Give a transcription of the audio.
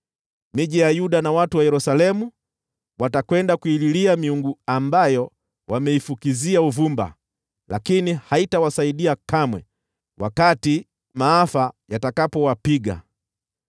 Miji ya Yuda na watu wa Yerusalemu watakwenda kuililia miungu ambayo wameifukizia uvumba, lakini haitawasaidia kamwe wakati maafa yatakapowapiga.